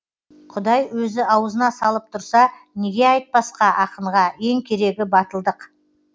құдай өзі ауызына салып тұрса неге айтпасқа ақынға ең керегі батылдық